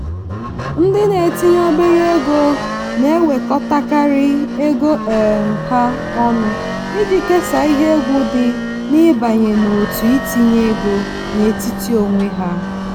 ndị na-etinye obere ego na-ewekọtakarị ego um ha ọnụ iji kesaa ihe egwu dị n'ịbanye n'òtù itinye ego n'etiti onwe ha.